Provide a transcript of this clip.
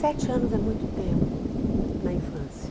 Sete anos é muito tempo na infância.